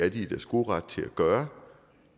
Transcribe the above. i deres gode ret til at gøre